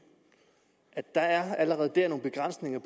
at der allerede der er nogle begrænsninger